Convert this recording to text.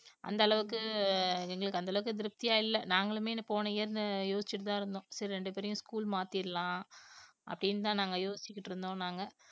அந்த அளவுக்கு எங்களுக்கு அந்த அளவுக்கு திருப்தியா இல்லை நாங்களுமே போன year ன்னு யோசிச்சிட்டுதான் இருந்தோம் சரி ரெண்டு பேரையும் school மாத்திடலாம் அப்படின்னுதான் நாங்க யோசிச்சுக்கிட்டு இருந்தோம் நாங்க